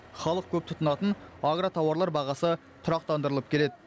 халық көп тұтынатын агротауарлар бағасы тұрақтандырылып келеді